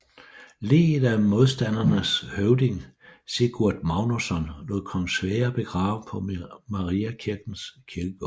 Liget af modstandernes høvding Sigurd Magnusson lod kong Sverre begrave på Mariakirkens kirkegård